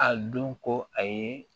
A don ko a ye